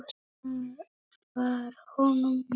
Það var honum nóg.